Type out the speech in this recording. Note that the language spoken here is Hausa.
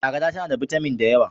Agada tana da bitamin da yawa.